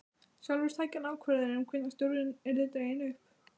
Sjálfur tæki hann ákvörðun um hvenær stjórinn yrði dreginn upp.